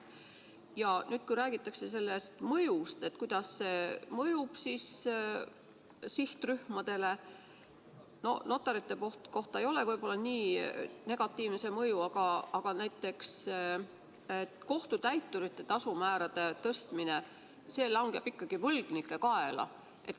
Ja nüüd, kui räägitakse sellest mõjust, mida see avaldab sihtrühmadele, siis notaritele ei ole see mõju võib-olla nii negatiivne, aga näiteks kohtutäiturite tasu määrade tõstmine langeb ikkagi võlgnike kaela.